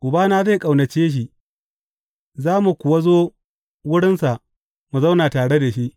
Ubana zai ƙaunace shi, za mu kuwa zo wurinsa mu zauna tare da shi.